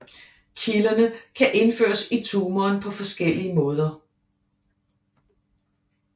Kilderne kan indføres i tumoren på forskellige måder